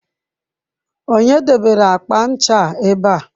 Onye debere akpa ncha a ebe a?